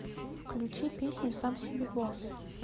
включи песню сам себе босс